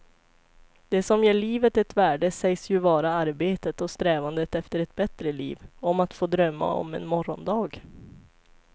Det som ger livet ett värde sägs ju vara arbetet och strävandet efter ett bättre liv, om att få drömma om en morgondag.